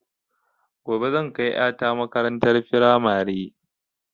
Gobe zan kai ƴa ta makarantar firamare